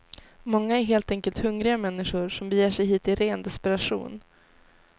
Många är helt enkelt hungriga människor som beger sig hit i ren desperation.